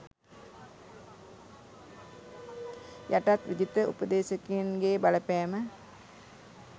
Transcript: යටත් විජිත උපදේශකයින් ගේ බලපෑම